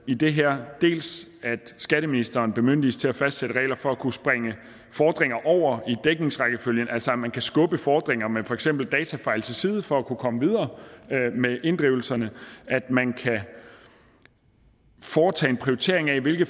i det her dels at skatteministeren bemyndiges til at fastsætte regler for at kunne springe fordringer over i dækningsrækkefølgen altså at man kan skubbe fordringer med for eksempel datafejl til side for at kunne komme videre med inddrivelserne at man kan foretage en prioritering af hvilke